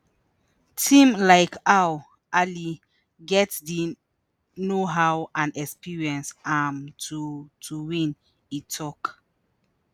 “team like al ahly get di know-how and experience um to to win” e tok.